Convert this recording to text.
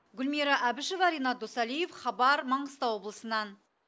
гүлмира әбішева ренат досалиев хабар маңғыстау облысынан